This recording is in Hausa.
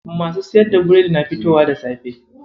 Masu siyar da biredi na fitowa da safe.